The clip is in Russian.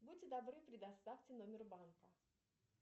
будьте добры предоставьте номер банка